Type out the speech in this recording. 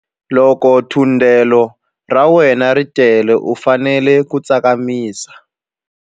Loko thundelo ra wena ri tele u fanele ku tsakamisa.